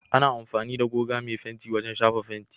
Ana amfani da goga mai fenti wajen shafa fenti.